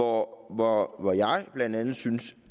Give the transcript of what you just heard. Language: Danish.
hvor hvor jeg blandt andet synes